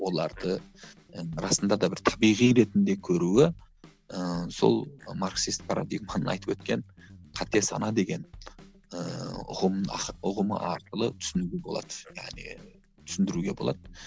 оларды ы расында да бір табиғи ретінде көруі ыыы сол марксист айтып өткен қате сана деген ыыы ұғым ұғымы арқылы түсінуге болады яғни түсіндіруге болады